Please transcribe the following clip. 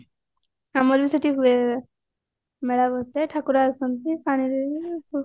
ଆମର ବି ସେଠି ହୁଏ ମେଳା ବସେ ଠାକୁର ଆସନ୍ତି ପାଣିରେ